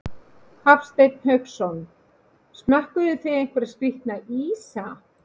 Hafsteinn Hauksson: Smökkuðuð þið einhverja skrítna ísa?